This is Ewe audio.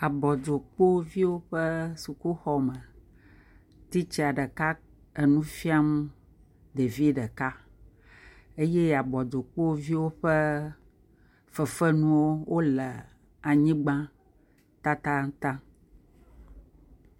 Abɔdzokpoviwo ƒe sukuxɔme titsa ɖeka nufiam ɖevi ɖeka eye abɔdzokpoviwo ƒe fefenuwo le anyigbã taŋtaŋtaŋ